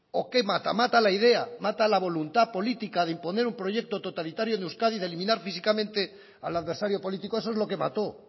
o qué mata mata la idea mata la voluntad política de imponer un proyecto totalitario en euskadi de eliminar físicamente al adversario político eso es lo que mató